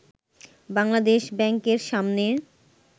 বাংলাদেশ ব্যাংকের সামনে